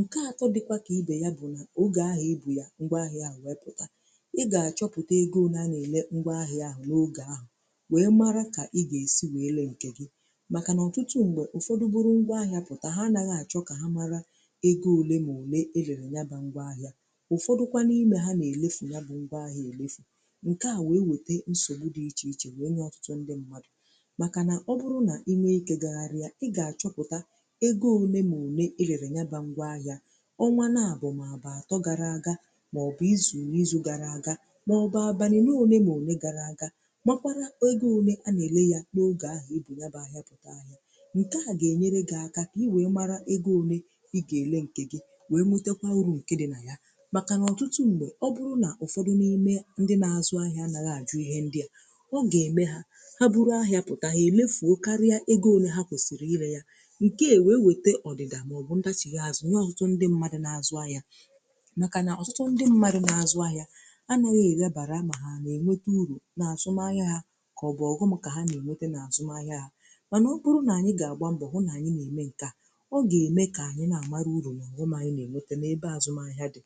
nkè atọ dịkwa kà ibe ya bụ nà ogè ahịà ibu ya ngwa ahịà i gà-eputà i gà-achọpụtà ego one anà ele ngwa ahịà ahụ̀ n’ogè ahụ̀ wee mara kà i ga-esi wee lee nkè gị màkà nà ọtụtụ m̀gbè egoùle mà òle erere nyaba ngwa ahịa. Ufọdụkwa n’ime ha na-elefù ya bụ ngwa ahịa èlefù nke a na-ewete nsogbu dị iche iche wee nye ọtụtụ ndị mmadụ̀ maka nà ọ bụrụ na i nweike gagharịa ị gà-achọpụta ego one ma òle erere nyaba ngwa ahịa ọnwa na abụm a atọ gara aga maọ̀bụ̀ izu n’izu gara aga maọ̀bụ̀ abanye n’one ma òle gara aga makwara ego one a na-ele ya n’oge ahụ̀ i bụ naba ahịa pụta ahịa wee mara egȯ ole ị gà-èle ǹkè gị wee metekwa uru ǹke dị nà ya màkà ọ̀tụtụ m̀bọ̀ ọ bụrụ nà ụ̀fọdụ na-eme ndị nà-azụ ahịa ànaghị àjụ ihe ndị a ọ gà-ème ha ha bụrụ ahịa pụ̀ta ha èlefu o karịa egȯ ole ha kwèsìrì irė ya ǹke à wee wète ọ̀dị̀dà màọbụ̀ ndachịghị azụ̀ onye ọtụtụ ndị mmadụ nà-azụ ahịa nàkà nà ọ̀tụtụ ndị mmadụ nà-azụ ahịa anȧghị ègabàra mà ha nà-ènwete urù nà àzụm ahịa ha kà ọ bụ̀ ọghụ̇ màkà ha nà-ènwete nà àzụm ahịa ha mànà ọ kpụrụ nà anyị gà-àgba mbọ̀ hụ na-ème ǹkè a ọ ga-eme ka anyị na-amara ụrụ n’ọghụm anyị na-emete n’ebe azụmahịa dị.